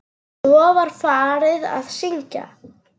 Svo var farið að syngja.